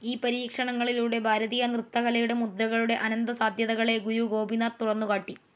ഈ പരീക്ഷണങ്ങളിലൂടെ ഭാരതീയ നൃത്തകലയുടെ, മുദ്രകളുടെ അനന്തസാദ്ധ്യതകളെ ഗുരു ഗോപിനാഥ്‌ തുറന്നു കാട്ടി.